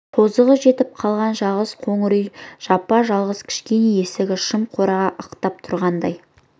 тозығы жетіп қалған жалғыз қоңыр үй жапа-жалғыз кішкене ескі шым қораға ықтап тұрғандай